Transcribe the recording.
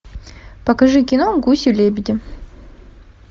покажи кино гуси лебеди